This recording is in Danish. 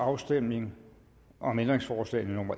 afstemning om ændringsforslagene